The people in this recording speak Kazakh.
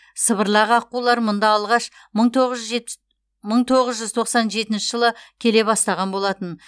сыбырлақ аққулар мұнда алғаш мың тоғыз жүз жетпіс мың тоғыз жүз тоқсан жетінші жылы келе бастаған болатын